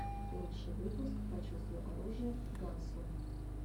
лучший выпуск почувствуй оружие гансрум